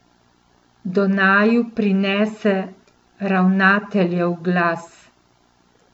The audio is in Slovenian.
Do naju prinese ravnateljev glas.